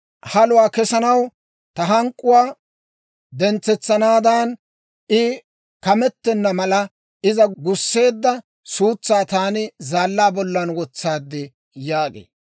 Haluwaa kesanaw, ta hank'k'uwaa dentsetsanaadan, I kametenna mala, iza gusseedda suutsaa taani zaallaa bollan wotsaad› yaagee.